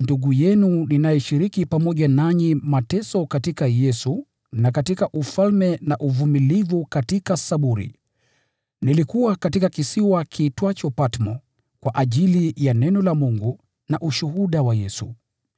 ndugu yenu ninayeshiriki pamoja nanyi mateso katika Yesu na katika ufalme na uvumilivu katika saburi, nilikuwa katika kisiwa cha Patmo kwa ajili ya neno la Mungu na ushuhuda wa Yesu.